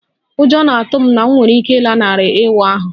Ụjọ na-atụ m na m nwere ike ghara ịlanarị ịwa ahụ